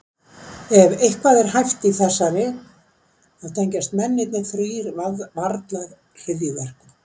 En ef eitthvað er hæft í þessari, þá tengjast mennirnir þrír varla hryðjuverkum.